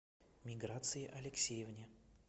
миграции алексеевне